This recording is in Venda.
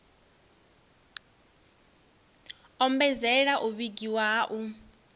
ombedzela u vhigiwa ha u